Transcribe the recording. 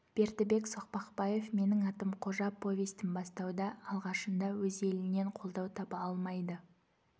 бердібек соқпақбаев менің атым қожа повестін басуда алғашында өз елінен қолдау таба алмайды